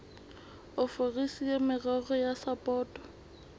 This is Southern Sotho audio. ofisiri ya merero ya sapoto